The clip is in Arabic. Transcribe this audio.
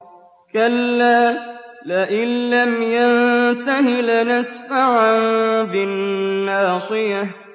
كَلَّا لَئِن لَّمْ يَنتَهِ لَنَسْفَعًا بِالنَّاصِيَةِ